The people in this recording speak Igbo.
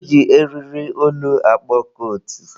E ji eriri olu akpọ kootu.